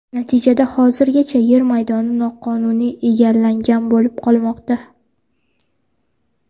Natijada hozirgacha yer maydoni noqonuniy egallangan bo‘lib qolmoqda.